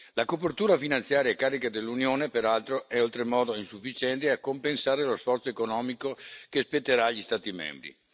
La copertura finanziaria a carico dell'Unione, peraltro, è oltremodo insufficiente a compensare lo sforzo economico che spetterà agli Stati membri.